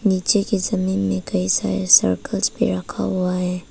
नीचे के जमीन पर कई सारे सर्कल भी रखा हुआ है।